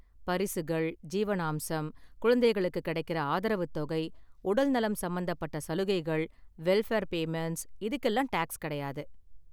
பரிசுகள், ஜீவனாம்சம், குழந்தைங்களுக்கு கிடைக்கற ஆதரவு தொகை, உடல்நலம் சம்பந்தப்பட்ட சலுகைகள், வெல்ஃபர் பேமண்ட்ஸ், இதுக்கெல்லாம் டாக்ஸ் கிடையாது.